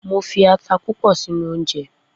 Mo fi ata púpọ̀ sínú oúnjẹ